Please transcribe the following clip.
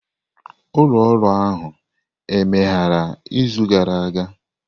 Ụlọ ọrụ ahụ emeghere izu gara aga?